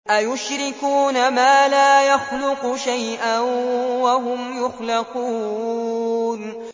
أَيُشْرِكُونَ مَا لَا يَخْلُقُ شَيْئًا وَهُمْ يُخْلَقُونَ